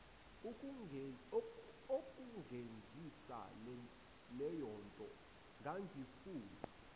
ukungenzisa leyonto ngangifuna